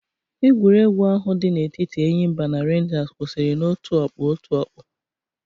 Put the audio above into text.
Egwuregwu ahụ di na-etiti Enyimba na Renjas kwụsịrị na-otu ọkpụ otu ọkpụ.